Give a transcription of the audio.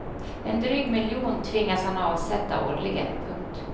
En dryg miljon tvingas han avsätta årligen. punkt